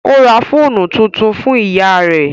Ó ra fóònù tuntun fún ìyá rẹ́